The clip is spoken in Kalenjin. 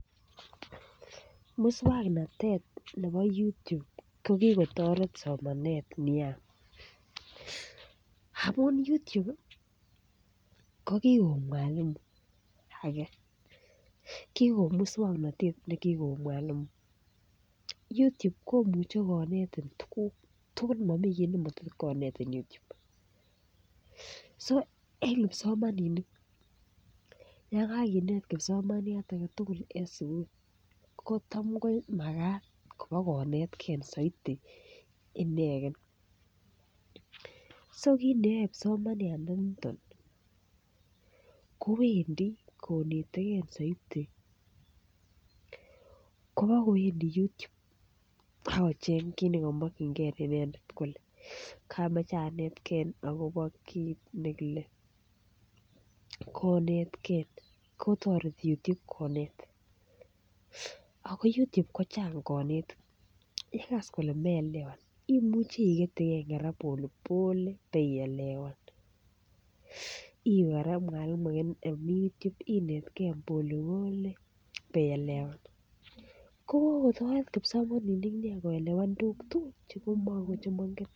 Mukswanotetab YouTube kokikotaret somanet nyeaa amuun YouTube ih ko kikoek mwalimu age, kikoek musuaknotet nekikoeg mwalimu YouTube komuche konetin tukuk chechang so en kipsomaninik Yoon kaginet kibsomaniat agetugul en sugul ko tam ko magat ibokonetkei saiti inegen so kit neyae kipsomaniiat ndenito kowendi koneteke saiti kobagoendi YouTube akochen kit nekamakienge inendet konetkei kotareti YouTube konet. Ako YouTube kochang kanetik yegas komeelewan imuche iketyiken kora pole pole kobaielewan iwe kora mwalimu inetke polepole ibaielewan. Kokotaret kipsomaninik nea koelewan tukuk chemaingen